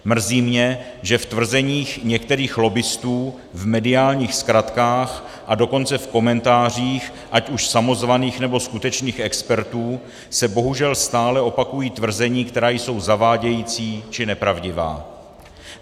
Mrzí mě, že v tvrzeních některých lobbistů, v mediálních zkratkách, a dokonce v komentářích ať už samozvaných, nebo skutečných expertů se bohužel stále opakují tvrzení, která jsou zavádějící, či nepravdivá.